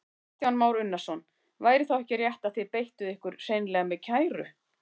Kristján Már Unnarsson: Væri þá ekki rétt að þið beittuð ykkur hreinlega með kæru?